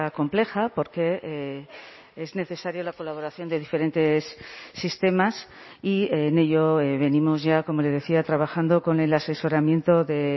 compleja porque es necesaria la colaboración de diferentes sistemas y en ello venimos ya como le decía trabajando con el asesoramiento de